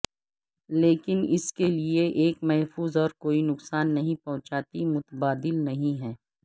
لیکن اس کے لئے ایک محفوظ اور کوئی نقصان نہیں پہنچاتی متبادل نہیں ہے